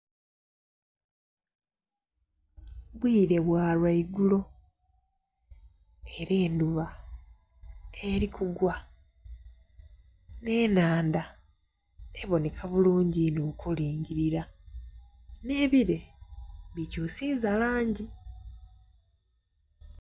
Bwire bwa lwaigulo era enduba eri kugwa ne naandha eboneka bulungi inho okulingirira ne bire bikyusiza langi